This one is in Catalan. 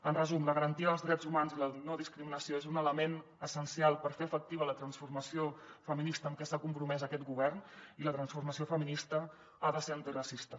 en resum la garantia dels drets humans i la no discriminació és un element essencial per fer efectiva la transformació feminista amb què s’ha compromès aquest govern i la transformació feminista ha de ser antiracista